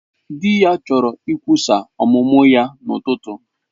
Di ya chọrọ ikwusa ọmụmụ ya n'ụtụtụ.